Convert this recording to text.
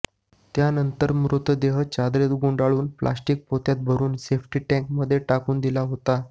त्यांनतर मृतदेह चादरीत गुंडाळून प्लास्टिक पोत्यात भरून सेफ्टी टँकमध्ये टाकून दिला होता